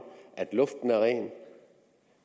at luften er ren